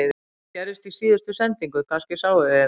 Þetta gerðist í síðustu sendingu, kannski sáuð þið það